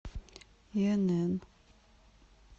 инн